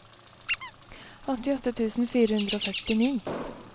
åttiåtte tusen fire hundre og førtini